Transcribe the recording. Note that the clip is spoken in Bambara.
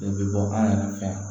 I bɛ bɔ an yɛrɛ fɛ yan